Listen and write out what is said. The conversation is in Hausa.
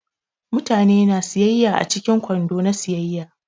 Mutane na siyaya a cikin kwando na siyayya.